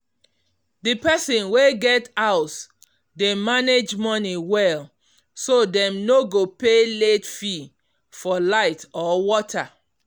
the person wey get house um dey manage money well um so dem no go pay late fee for light or water